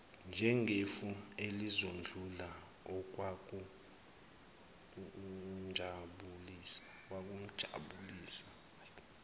njengefu elizodlula okwakumjabulisa